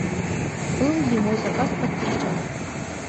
был ли мой заказ подтвержден